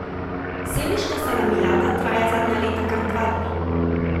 Sevniška salamijada traja zadnja leta kar dva dni.